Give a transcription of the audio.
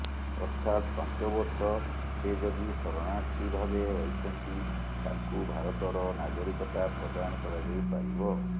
ଅର୍ଥାତ ପାଞ୍ଚବର୍ଷ ସେ ଯଦି ଶରଣାର୍ଥୀ ଭାବେ ରହିଛନ୍ତି ତାଙ୍କୁ ଭାରତର ନାଗରିକତା ପ୍ରଦାନ କରାଯାଇପାରିବ